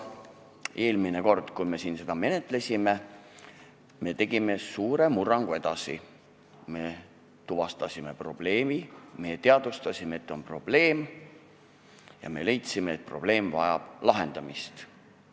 Eelmine kord, kui me siin seda menetlesime, me saavutasime suure murrangu: me tuvastasime probleemi, me teadvustasime, et on probleem, ja me leidsime, et probleem vajab lahendamist.